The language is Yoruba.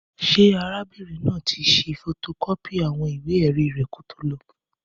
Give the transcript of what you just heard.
Ṣé arábìnrin náà tí ṣe fotokọ́pì àwọn ìwé èrí rẹ k kí o tó lọ